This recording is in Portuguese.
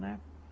né